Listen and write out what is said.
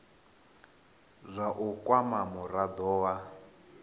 zwa u kwama murado wa